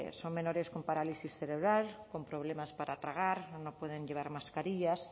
son menores con parálisis cerebral con problemas para tragar no pueden llevar mascarillas